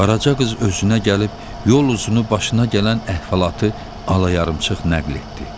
Qaraca qız özünə gəlib, yol üzünü başına gələn əhvalatı alayarımçıq nəql etdi.